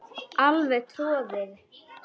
Alveg troðið.